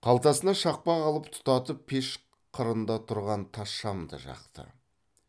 қалтасынан шақпақ алып тұтатып пеш қырында тұрған тас шамды жақты